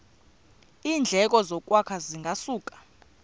iindleko zokwakha zingasuka